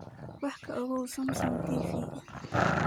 wax ka ogow samsung t. v.